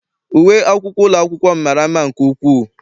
Uwe akwụkwọ ụlọ akwụkwọ m mara mma nke ukwuu.